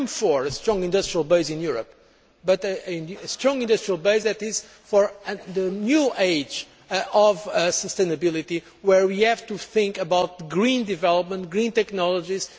I am for a strong industrial base in Europe but a strong industrial base for the new age of sustainability, where we have to think about green development, green technologies.